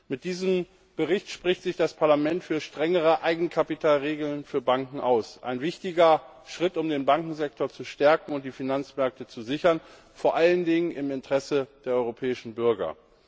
Mit diesem Bericht spricht sich das Parlament für strengere Eigenkapitalregeln für Banken aus ein wichtiger Schritt, um den Bankensektor zu stärken und die Finanzmärkte zu sichern, vor allen Dingen im Interesse der europäischen Bürger.